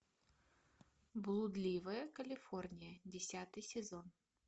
блудливая калифорния десятый сезон